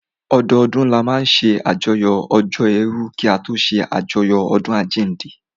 Ọdọdún ni a máa n ṣe àyájọ́ ọjọ́ èèrù kí a tó ṣé àjọyọ̀ ọdún àjínde